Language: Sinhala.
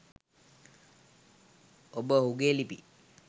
ඔබ ඔහුගේ ලිපි